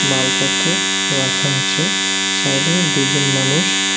মালপত্র রাখা আছে সাইডে দুইজন মানুষ--